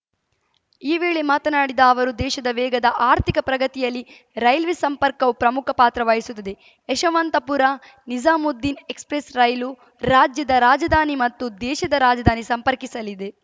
ಈ ವೇಳೆ ಮಾತನಾಡಿದ ಅವರು ದೇಶದ ವೇಗದ ಆರ್ಥಿಕ ಪ್ರಗತಿಯಲ್ಲಿ ರೈಲ್ವೆ ಸಂಪರ್ಕವೂ ಪ್ರಮುಖ ಪಾತ್ರ ವಹಿಸುತ್ತದೆ ಯಶವಂತಪುರನಿಜಾಮುದ್ದೀನ್‌ ಎಕ್ಸ್‌ಪ್ರೆಸ್‌ ರೈಲು ರಾಜ್ಯದ ರಾಜಧಾನಿ ಮತ್ತು ದೇಶದ ರಾಜಧಾನಿ ಸಂಪರ್ಕಿಸಲಿದೆ